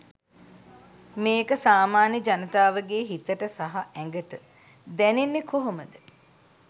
මේක සාමාන්‍ය ජනතාවගේ හිතට සහ ඇඟට දැනෙන්නේ කොහොමද?